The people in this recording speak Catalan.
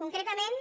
concretament